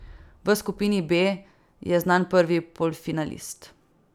V skupini B je znan prvi polfinalist.